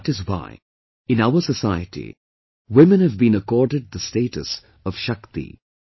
And that is why, in our society, women have been accorded the status of 'Shakti'